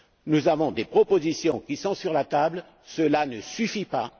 accord. Nous avons des propositions qui sont sur la table, cela ne suffit